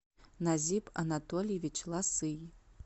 назиб анатольевич ласый